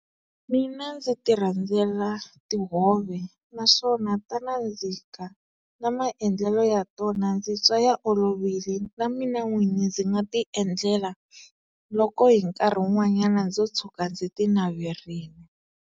Mina ndzi ti rhandzela tihove naswona ta nandzika na maendlelo ya tona ndzi twa ya olovile na mina n'wini ndzi nga ti endlela loko hi nkarhi wun'wanyana ndzo tshuka ndzi ti naverini.